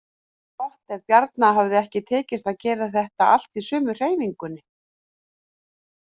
Gott ef Bjarna hafi ekki tekist að gera þetta allt í sömu hreyfingunni.